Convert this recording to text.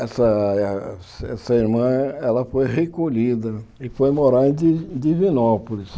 Essa eh essa essa irmã foi recolhida e foi morar em Di em Divinópolis.